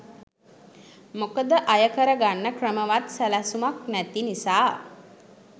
මොකද අය කර ගන්න ක්‍රමවත් සැලැස්මක් නැති නිසා.